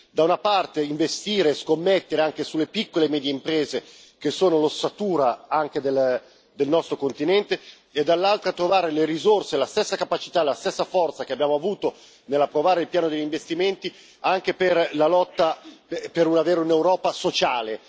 Da una parte, investire e scommettere anche sulle piccole e medie imprese, che sono l'ossatura anche del nostro continente, e dall'altra trovare le risorse e la stessa capacità, la stessa forza che abbiamo avuto nell'approvare il piano degli investimenti, anche per la lotta per avere un'Europa sociale.